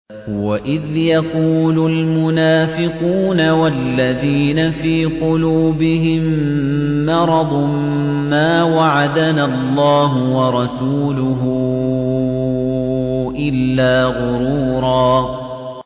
وَإِذْ يَقُولُ الْمُنَافِقُونَ وَالَّذِينَ فِي قُلُوبِهِم مَّرَضٌ مَّا وَعَدَنَا اللَّهُ وَرَسُولُهُ إِلَّا غُرُورًا